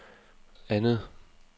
andet